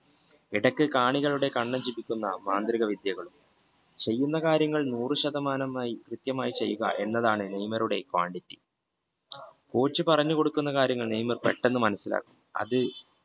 ഇടയ്ക്ക് കാണികളുടെ കണ്ണ് ജപിക്കുന്ന മാന്ത്രികവിദ്യകൾ ചെയ്യുന്ന കാര്യങ്ങൾ ആയിനൂറു ശതമാനം കൃത്യമായി ചെയ്യുക എന്നതാണ് നെയ്മറുടെ പാണ്ഡിത്യം കോച്ച് പറഞ്ഞു കൊടുക്കുന്ന കാര്യങ്ങൾ നെയ്മർ പെട്ടെന്ന് മനസ്സിലാക്കുന്നു അത്